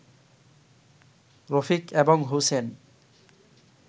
রফিক এবং হোসেন